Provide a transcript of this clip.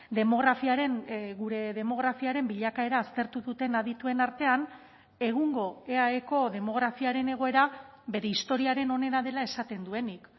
demografiaren gure demografiaren bilakaera aztertu duten adituen artean egungo eaeko demografiaren egoera bere historiaren onena dela esaten duenik